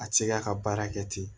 A ti se ka ka baara kɛ ten